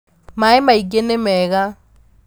Maĩ maingĩ nĩmega.